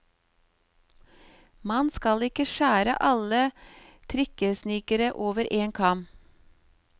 Man skal ikke skjære alle trikkesnikere over en kam.